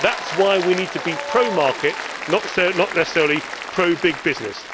That is why we need to be pro market, not necessarily pro big business.